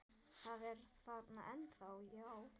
Það er þarna ennþá, já.